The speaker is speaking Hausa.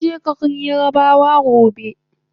Zanje garin yarabawa gobe